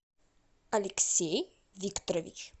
алексей викторович